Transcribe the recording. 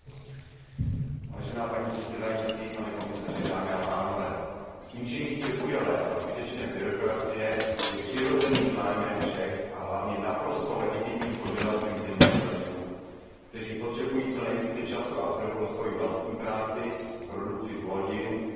Snížení přebujelé a zbytečné byrokracie je přirozeným zájmem všech a hlavně naprosto legitimním požadavkem zemědělců, kteří potřebují co nejvíce času a sil pro svoji vlastní práci, produkci plodin, chování zvířat, a ne pro boj s úředním šimlem a vyplňování formulářů.